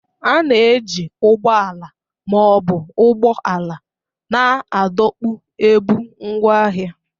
A na-eji ụgbọ ala ma ọ bụ ụgbọala na-adọkpụ ebu ngwaahịa.